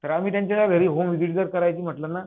तर आम्ही त्यांच्या ना घरी होम विझिट जर करायचं म्हंटल ना